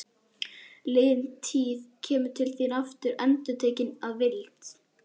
Liðin tíð kemur til þín aftur og endurtekin að vild.